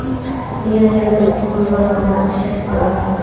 degan yana bir muhim normani kiritishni taklif qilaman.